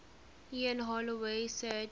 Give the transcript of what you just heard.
ian holloway said